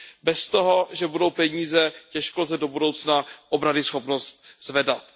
Bez toho, že budou peníze, těžko lze do budoucna obranyschopnost zvedat.